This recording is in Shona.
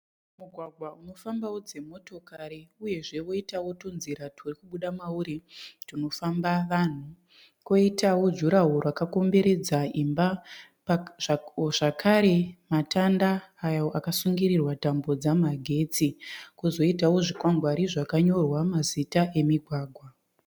Mugwagwa unofambawo dzimotokari uyezve woitawo tunzira tunobuda mauri tunofamba vanhu, poitawo juraho rakakomberedza imba zvakare matanda ayo akasungirirwa tambo dzamagetsi, kwozoitawo zvikwangwani zvakanyorwa mazita emigwagwa.